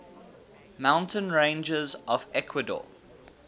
mountain ranges of ecuador